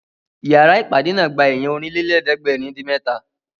Ìyára ìpàdé náà gba èèyàn Ọ̀rìnlélẹ̀ẹ́dẹ́gbèrin-dín-mẹ́ta